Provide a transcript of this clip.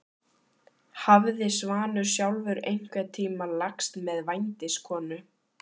Hafði Svanur sjálfur einhvern tíma lagst með vændiskonu?